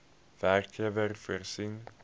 werkgewer voorsien